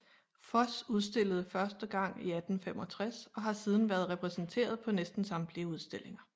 Foss udstillede første gang 1865 og har siden været repræsenteret på næsten samtlige udstillinger